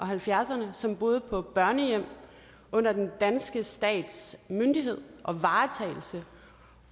halvfjerdserne som boede på børnehjem under den danske stats myndighed og varetagelse